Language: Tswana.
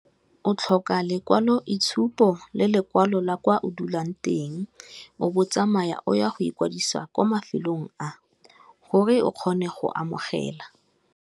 O tlhoka lekwalo itshupo le lekwalo la kwa o dulang teng, o bo o tsamaya o ya go ikwadisiwa kwa mafelong a gore o kgone go amogela.